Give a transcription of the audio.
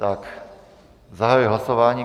Tak zahajuji hlasování.